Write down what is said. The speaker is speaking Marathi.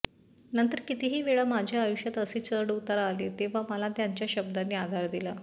नंतर कितीतरी वेळा माझ्या आयुष्यात असे चढ उतार आले तेव्हा मला त्यांच्या शब्दांनी आधार दिला